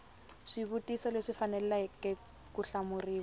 swivutiso leswi faneleke ku hlamuriwa